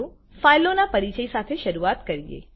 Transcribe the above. ચાલો ફાઈલો ના પરિચય સાથે શરૂઆત કરીએ